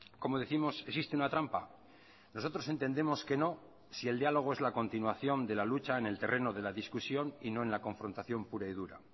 como décimos existe una trampa nosotros entendemos que no si el diálogo es la continuación de la lucha en el terreno de la discusión y no en la confrontación pura y dura